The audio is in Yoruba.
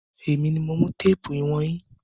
Èmi mi mo mú téèpù ìwọ̀n yín.